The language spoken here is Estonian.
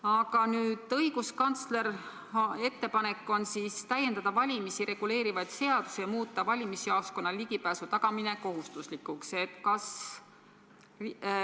Aga õiguskantsleri ettepanek on täiendada valimisi reguleerivaid seadusi ja muuta valimisjaoskonnale ligipääsu tagamine kohustuslikuks.